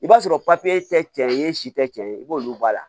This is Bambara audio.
I b'a sɔrɔ tɛ cɛncɛn e si tɛ tiɲɛ ye i b'olu bɔ a la